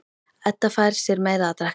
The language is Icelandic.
Edda fær sér meira að drekka.